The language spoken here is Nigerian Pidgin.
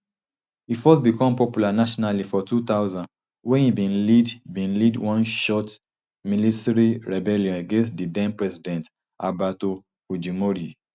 e first bicom popular nationally for two thousand wen e bin lead bin lead one short milisary rebellion against di then president alberto fujimori